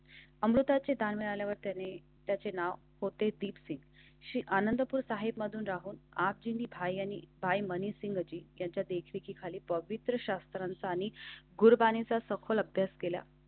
अमृताचें दान मिळाल्यावर त्याने त्याचे नाव होते. दीप्ती आनंदपुर साहिबमधून राहून आजीबाई आणि बाय मनी सिंगची त्याच्या देखरेखीखाली पवित्र शास्त्रांचा आणि गुरबानीचा सखोल अभ्यास केला.